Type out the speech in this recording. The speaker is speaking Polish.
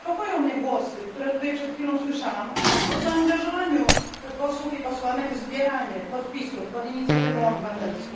Więc niepokoją mnie głosy, które przed chwilą słyszałam o zaangażowaniu posłów i posłanek w zbieranie podpisów pod inicjatywą obywatelską.